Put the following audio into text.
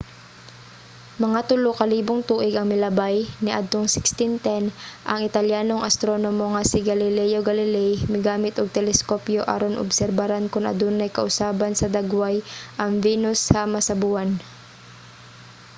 mga tulo ka libong tuig ang milabay niadtong 1610 ang italyanong astronomo nga si galileo galilei migamit og teleskopyo aron obserbaran kon adunay kausaban sa dagway ang venus sama sa buwan